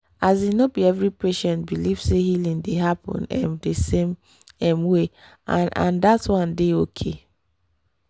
asin no be every patient believe say healing dey happen ehh di same um way and and that one dey okay